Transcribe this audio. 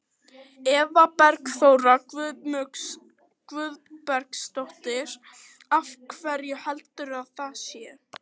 Eva Bergþóra Guðbergsdóttir: Af hverju heldurðu að það sé?